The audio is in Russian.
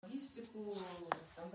истиклол